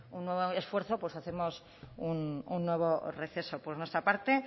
un nuevo esfuerzo pues hacemos un nuevo receso por nuestra parte